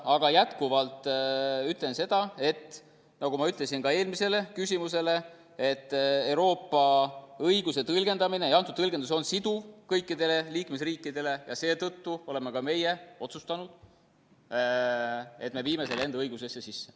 Aga jätkuvalt ütlen seda, nagu ma vastasin ka eelmisele küsimusele, et Euroopa õiguse tõlgendamine ja antud tõlgendus on siduv kõikidele liikmesriikidele ning seetõttu oleme ka meie otsustanud, et me viime selle enda õigusesse sisse.